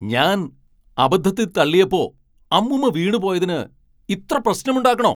ഞാൻ അബദ്ധത്തിൽ തള്ളിയപ്പോ അമ്മൂമ്മ വീണു പോയതിന് ഇത്ര പ്രശ്നമുണ്ടാക്കണോ?